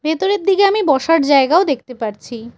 ভেতরের দিকে আমি বসার জায়গাও দেখতে পারছি।